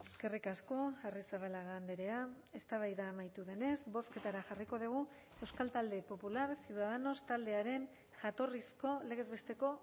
eskerrik asko arrizabalaga andrea eztabaida amaitu denez bozketara jarriko dugu euskal talde popular ciudadanos taldearen jatorrizko legez besteko